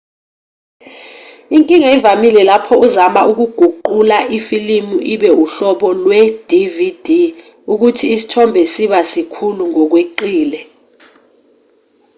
inkinga evamile lapho uzama ukuguqula ifilimu ibe uhlobo lwe-dvd ukuthi isithombe siba sikhulu ngokweqile